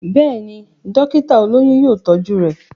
Béèni, dókítà olóyún yóò tọ́jú rẹ̀.